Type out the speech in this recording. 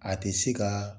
A tɛ se ka